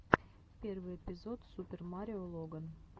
первый эпизод супер марио логан